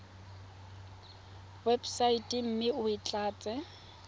websaeteng mme o e tlatse